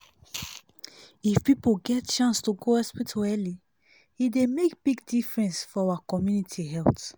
if people get chance to go hospital early e dey make big big difference for our community health.